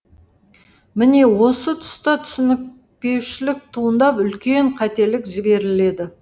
міне осы тұста түсініспеушілік туындап үлкен қателік жіберіледі